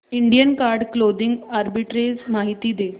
Indian card clothing arbitrage माहिती दे